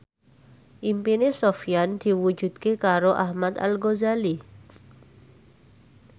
impine Sofyan diwujudke karo Ahmad Al Ghazali